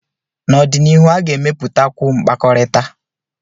n'ọdịnihu, a ga-emepụtakwu mkpakọrịta